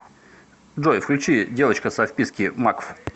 джой включи девочка со вписки макф